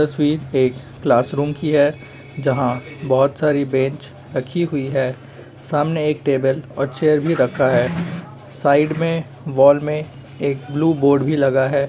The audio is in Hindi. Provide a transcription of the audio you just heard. तस्वीर एक क्लासरूम की है जहाँ बहोत सारी बेंच रखी हुई है। सामने एक टेबल और चेयर भी रखा है। साइड में वॉल में एक ब्लू बोर्ड भी लगा है।